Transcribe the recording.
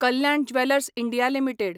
Kalyan Jewellers India limited